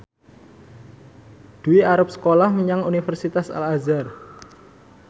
Dwi arep sekolah menyang Universitas Al Azhar